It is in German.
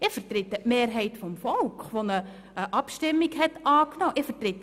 Ich vertrete die Mehrheit des Volkes, die eine Abstimmung angenommen hat.